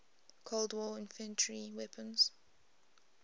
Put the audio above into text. cold war infantry weapons